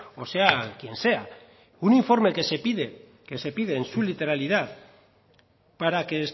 o sea quien sea un informe que se pide en su literalidad para que